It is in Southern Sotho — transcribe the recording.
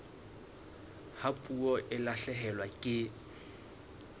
ha puo e lahlehelwa ke